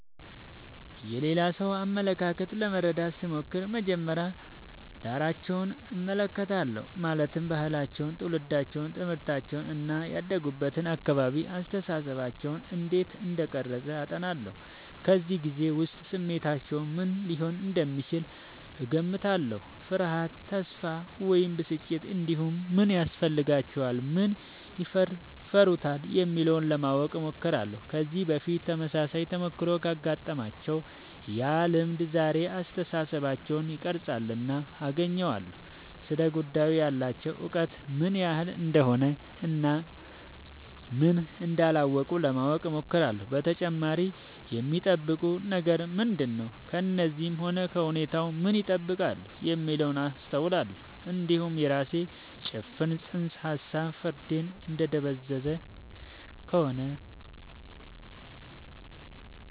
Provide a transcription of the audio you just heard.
የሌላ ሰው አመለካከት ለመረዳት ስሞክር መጀመሪያ ዳራቸውን እመለከታለሁ ማለትም ባህላቸው ትውልዳቸው ትምህርታቸው እና ያደጉበት አካባቢ አስተሳሰባቸውን እንዴት እንደቀረጸ አጤናለሁ በዚያ ጊዜ ውስጥ ስሜታቸው ምን ሊሆን እንደሚችል እገምታለሁ ፍርሃት ተስፋ ወይም ብስጭት እንዲሁም ምን ያስፈልጋቸዋል ምን ይፈሩታል የሚለውን ለማወቅ እሞክራለሁ ከዚህ በፊት ተመሳሳይ ተሞክሮ ካጋጠማቸው ያ ልምድ ዛሬውን አስተሳሰባቸውን ይቀርፃልና አገናኘዋለሁ ስለ ጉዳዩ ያላቸው እውቀት ምን ያህል እንደሆነ እና ምን እንዳላወቁ ለማወቅ እሞክራለሁ በተጨማሪም የሚጠብቁት ነገር ምንድነው ከእኔም ሆነ ከሁኔታው ምን ይጠብቃሉ የሚለውን አስተውላለሁ እንዲሁም የራሴ ጭፍን ጽንሰ ሀሳብ ፍርዴን እያደበዘዘ ከሆነ